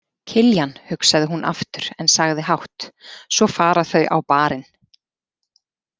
Kiljan, hugsaði hún aftur en sagði hátt: Svo fara þau á Bar- inn.